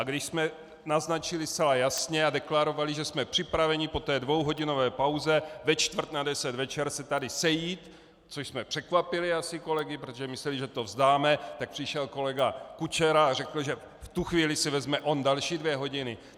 A když jsme naznačili zcela jasně a deklarovali, že jsme připraveni po té dvouhodinové pauze ve čtvrt na deset večer se tady sejít, což jsme překvapili asi kolegy, protože mysleli, že to vzdáme, tak přišel kolega Kučera a řekl, že v tu chvíli si vezme on další dvě hodiny.